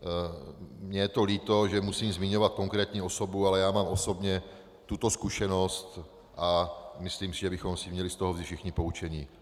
Mně je to líto, že musím zmiňovat konkrétní osobu, ale já mám osobně tuto zkušenost a myslím si, že bychom si měli z toho vzít všichni poučení.